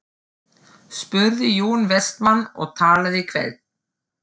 spurði Jón Vestmann og talaði hvellt.